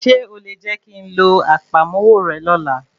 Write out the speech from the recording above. Ṣé o lè jẹ́ kí ń lo àpamọ́wọ́ rẹ lọ́la?